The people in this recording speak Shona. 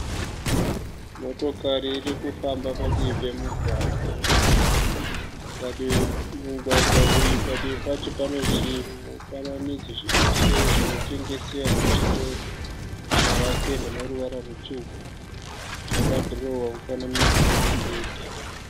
Motokari iri kufamba padivi pemugwagwa. Mugwagwa uyu padivi pacho pane chimufananidzo chezvinotengesewa muzvitoro chakapendwa neruvara rutsvuku. Chakadhirowewa mufananidzo wemubhedha.